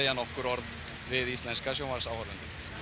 nokkur orð við íslenska sjónvarpsáhorfendur